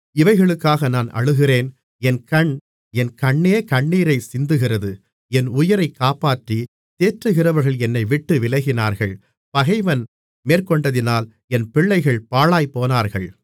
இவைகளுக்காக நான் அழுகிறேன் என் கண் என் கண்ணே கண்ணீரை சிந்துகிறது என் உயிரைக் காப்பாற்றித் தேற்றுகிறவர்கள் என்னைவிட்டு விலகினார்கள் பகைவன் மேற்கொண்டதினால் என் பிள்ளைகள் பாழாய்ப்போனார்கள்